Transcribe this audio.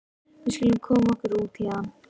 Við skulum koma okkur út héðan.